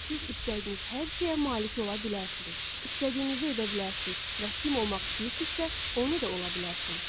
Siz istədiyiniz hər şeyə malik ola bilərsiniz, istədiyinizi edə bilərsiniz və kim olmaq istəyirsinizsə, onu da ola bilərsiniz.